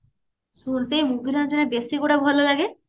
ଶୁଣୁ ସେଇ movie ରେ ଆମର ବେସି କୋଉଗୁରା ଭଲ ଲାଗେ